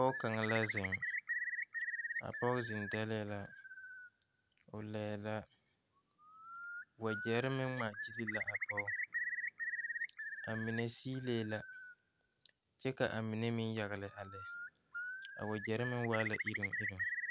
Pɔge kaŋa la zeŋ, a pɔge zeŋ dagle la ,o laɛ la ,wagyere meŋ ŋmaa gyile la a pɔge, a mine silee la kyɛ ka a mine meŋ yagele a lɛ a wagyere meŋ waa la iri iri.